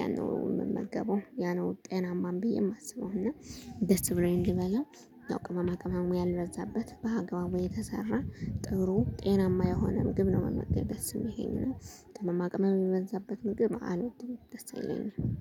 ያነው የምመገበው ያነው ጤናማም ብዬ የማስበው እና ደስ ብሎኝ እንድበላ። ያው ቅመማ ቅመሙ ያልበዛበት በአግባቡ የተሰራ ጥሩ ጤናማ የሆነ ምግብ ነው መመገብ ደስ የሚለኝ እና። ቅመማቅመም የበዛበት ምግብ አልወድም ደስ አይለኝም